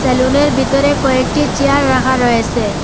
সেলুনের বিতরে কয়েকটি চেয়ার রাখা রয়েসে ।